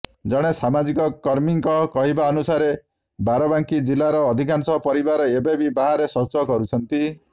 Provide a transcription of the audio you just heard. ଜଣେ ସାମାଜିକ କର୍ମୀଙ୍କ କହିବାନୁସାରେ ବାରବାଙ୍କି ଜିଲ୍ଲାର ଅଧିକାଂଶ ପରିବାର ଏବେବି ବାହାରେ ଶୌଚ କରୁଛନ୍ତି